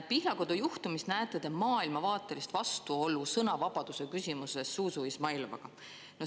Pihlakodu juhtumis näete te maailmavaatelist vastuolu sõnavabaduse küsimuses Zuzu Izmailovaga.